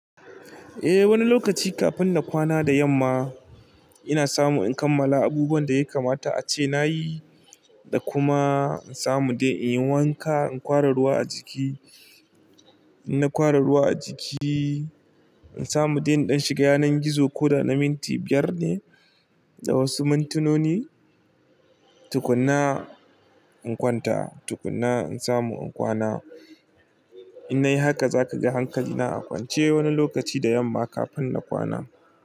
Eh wani lokaci kafin na kwana da yamma ina samu in kammala abubuwan da ya kamata ace nayi da kuma in samu dai in yi wanka, in kwara ruwa a jiki, in kwara ruwa a jiki, in samu dai in shiga yanar gizo ko da na minti biyar ne da wasu mintinoni, tukuna in kwanta, tukuna in samu in kwana. In nayi haka zaka ga hankali na a kwance wani lokaci da yamma kafin na kwana.